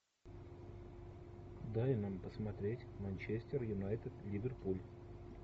дай нам посмотреть манчестер юнайтед ливерпуль